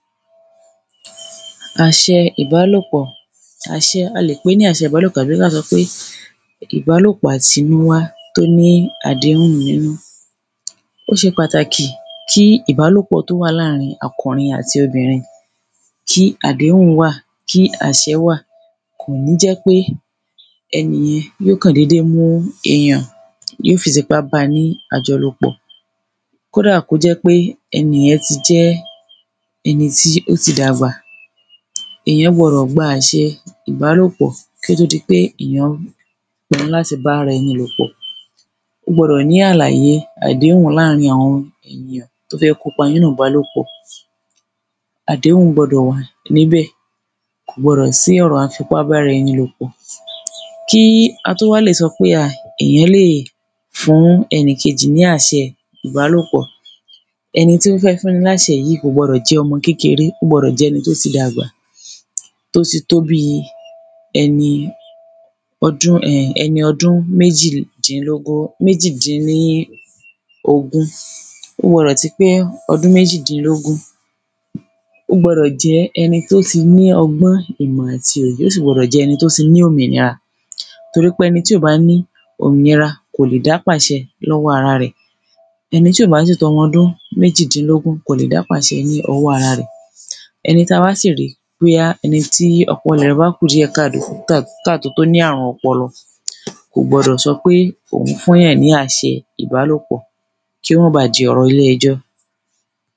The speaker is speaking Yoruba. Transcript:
àṣẹ ìbálòpọ̀. àṣẹ, a lè pé ní àṣẹ ìbálòpọ̀ àbí ka sọ pé ìbálòpọ̀ àti wíwá tó ní àdéhùn nínú. ó ṣe pàtàkì kí ìbálòpọ̀ tó wà láàrin àkùnrin àti obìnrin kí àdéhùn wà, kí àṣẹ́ wà kòní jẹ́ péẹnìyẹ́n yíò kàn dédé mú èyàn yíò fi tipá ba ní àjọlòpọ̀, kódà kó jẹ́ pé ẹnìyẹ́n ti jẹ́ ẹni tí ó ti dàgbà, èyán gbọdọ̀ gba àṣẹ ìbálòpọ̀ kí ó to di pé ìyán pinu láti bá ara ẹni lòpọ̀. ó gbọdọ̀ ní àlàyé àdéhùn láàrin àwọn ènìyàn tó fẹ́ kópa nínú ìbálòpọ̀. àdéhùn gbọdọ̀ wà níbẹ̀, kò gbọdọ̀ sí ọ̀rọ̀ à ń fipá bára ẹni lòpọ̀. kí a tó wá lè sọ pé à èyán lè fún ẹnìkejì ní àṣẹ ìbálòpọ̀, ẹni tí ó fẹ́ fún ni láṣẹ yìí, kò gbọdọ̀ jẹ́ ọmọ kékeré, ó gbọdọ̀ jẹ́ ẹni tó ti dàgbà, tó ti tó bíi ẹni ọdún, um ẹni ọdún méjìdínlógún, méjìdìn ní ogún. ó gbọdọ̀ ti pé ọdún méjìdínlógún, ó gbọdọ̀ jẹ́ ẹni tó ti ní ọgbọ́n, ìmọ̀, àti òye, ó sì gbọdọ̀ jẹ́ ẹni tó ti ní òmìnira, torí pé ẹni tí ò bá ní òmìnira, kòlè dá pàṣẹ lọ́wọ́ ara rẹ̀, ẹni tí ò bá sì tọ́mọ ọdún méjìdínlógún, kòlè dá pàṣẹ ní ọwọ́ ara rẹ̀. ẹni tí a bá sì rí bóyá ẹni tí ọpọlọ rẹ̀ bákùdíẹ̀káàdó, ká, káàtó tó ní àrùn ọpọlọ, kò gbọdọ̀ sọpé òun fún yàn ní àṣẹ ìbálòpọ̀ kí ó ma ba di ọ̀rọ̀ ilé-ẹjọ́.